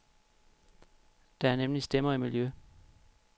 Der er nemlig stemmer i miljø.